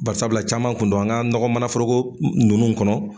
Bari sabila caman kun don . An ka nɔgɔ manan foroko nunnu kɔnɔ